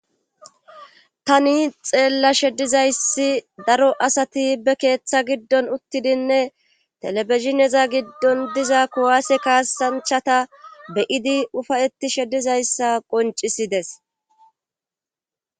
tani xeella sheddizayssi daro asati be keeththa giddon uttidinne telefizineza giddon diza kuwaase kaasanchata beyidi ufayetti shedizayssa qoncisides